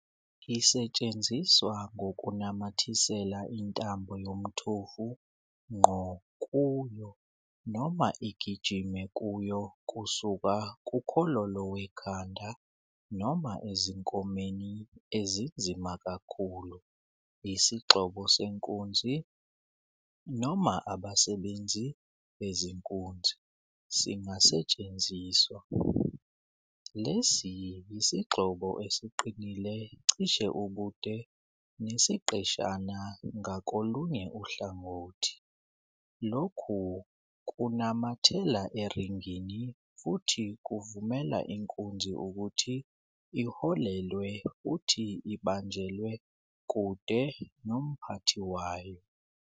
Isetshenziswa ngokunamathisela intambo yomthofu ngqo kuyo noma igijime kuyo kusuka kukhololo wekhanda, noma ezinkomeni ezinzima kakhulu, isigxobo senkunzi, noma abasebenzi bezinkunzi, singasetshenziswa. Lesi yisigxobo esiqinile cishe ubude nesiqeshana ngakolunye uhlangothi, lokhu kunamathela eringini futhi kuvumela inkunzi ukuthi iholelwe futhi ibanjelwe kude nomphathi wayo.